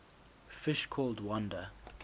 fish called wanda